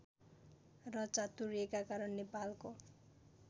र चातुर्यका कारण नेपालको